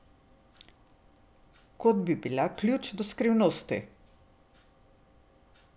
Kot da bi bila ključ do skrivnosti.